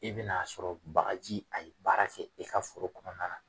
I bɛ na sɔrɔ bagaji a ye baara kɛ i ka foro kɔnɔna na.